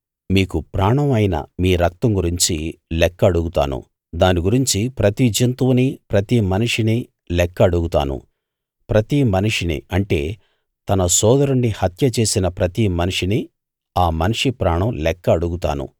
మీకు ప్రాణం అయిన మీ రక్తం గురించి లెక్క అడుగుతాను దాని గురించి ప్రతి జంతువునీ ప్రతి మనిషినీ లెక్క అడుగుతాను ప్రతి మనిషిని అంటే తన సోదరుణ్ణి హత్యచేసిన ప్రతి మనిషినీ ఆ మనిషి ప్రాణం లెక్క అడుగుతాను